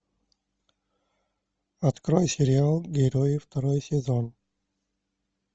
открой сериал герои второй сезон